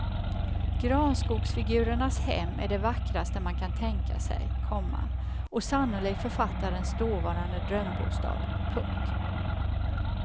Granskogsfigurernas hem är det vackraste man kan tänka sig, komma och sannolikt författarens dåvarande drömbostad. punkt